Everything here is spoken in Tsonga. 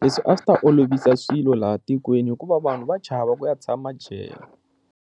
leswi a swi ta olovisa swilo laha tikweni hikuva vanhu va chava ku ya tshama jele.